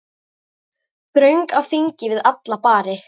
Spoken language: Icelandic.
Þröng á þingi við alla bari.